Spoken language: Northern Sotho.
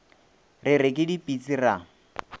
re re ke dipitsi ra